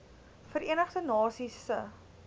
verenigde nasies se